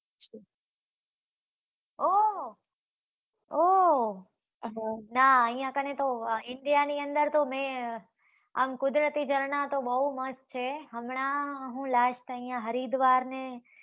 ઓહ ઓહ ના અહ્યા કણે તો India ની અંદર તો મે, આમ કુદરતી ઝરણાં તો બહુ મસ્ત છે, હમણાં હું last અહિંયા હરિદ્વાર અને